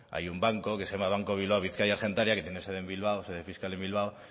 hay un banco que se llama banco bilbao vizcaya argentaria que tiene sede fiscal en bilbao